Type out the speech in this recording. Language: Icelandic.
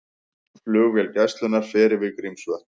Flugvél Gæslunnar fer yfir Grímsvötn